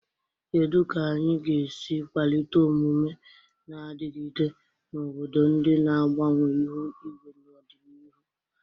Kedu ka anyị ga-esi kwalite omume na-adigide na obodo ndị na-agbanwe ihu igwe n'ọdịnihu?